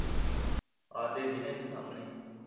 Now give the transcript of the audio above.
ਆਹੋ ਦਿੱਖਦੀ ਨਾ ਏਥੋਂ ਸਾਹਮਣੇ